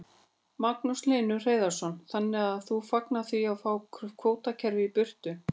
Magnús Hlynur Hreiðarsson: Þannig að þú fagnar því að fá kvótakerfið í burtu?